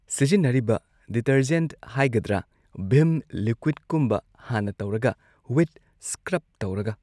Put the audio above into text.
ꯁꯤꯖꯤꯟꯅꯔꯤꯕ ꯗꯤꯇꯔꯖꯦꯟꯠ ꯍꯥꯢꯒꯗ꯭ꯔ ꯚꯤꯝ ꯂꯤꯀ꯭ꯋꯤꯗꯀꯨꯝꯕ ꯍꯥꯟꯅ ꯇꯧꯔꯒ ꯋꯤꯠ ꯁ꯭ꯀꯔ꯭ꯕ ꯇꯧꯔꯒ